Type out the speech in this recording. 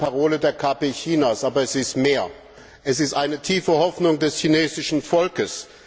Das ist eine Parole der KP Chinas, aber es ist auch mehr Es ist eine tiefe Hoffnung des chinesischen Volkes.